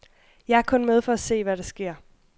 Jeg er kun med for at se, hvad der sker.